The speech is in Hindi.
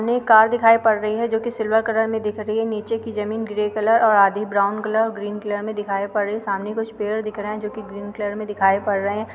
एक कार दिखाई पड़ रही है जो कि सिल्वर कलर में दिख रही है। नीचे जमीन ग्रे कलर और आधी ब्राउन कलर ग्रीन कलर में दिखाई पड़ रही है। सामने कुछ पेड़ दिख रहे हैं जो कि ग्रीन कलर में दिखाई पड़ रहे हैं।